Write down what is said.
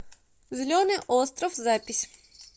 зеленый остров запись